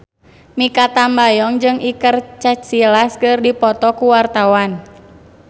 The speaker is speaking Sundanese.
Mikha Tambayong jeung Iker Casillas keur dipoto ku wartawan